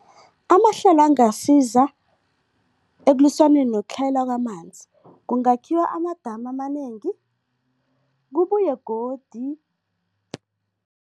Amahlelo angasiza ekulwiswaneni nokutlhayela kwamanzi, kungakhiwa amadamu amanengi, kubuye godi